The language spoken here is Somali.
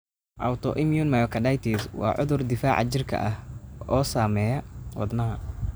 Autoimmune myocarditis waa cudur difaaca jirka ah oo saameeya wadnaha.